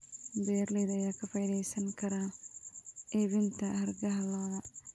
Beeralayda ayaa ka faa'iidaysan kara iibinta hargaha lo'da.